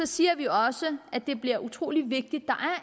siger vi også at det bliver utrolig vigtigt